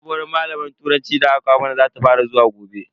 Sabuwar malamar turanci da aka kawo mana zata fara zuwa gobe.